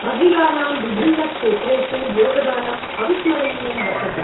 महिलानां विभिन्नक्षेत्रेषु योगदानं अविस्मरणीयं वर्तते।